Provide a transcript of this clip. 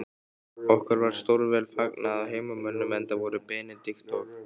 Okkur var stórvel fagnað af heimamönnum, enda voru Benedikt og